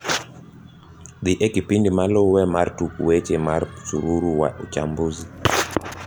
dhi e kipindi malue mar tuk weche mar msururu wa uchsmbuzi